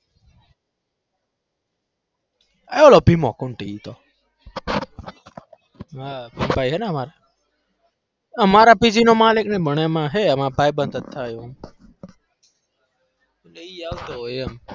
અરે ઓલો ભીમો ફૂંટી ઈ તો મારા અમારા PG નો માલિક ને અમારા ભાઈબંધ જ થાય એટલે ઈ આવતો હોય એમ.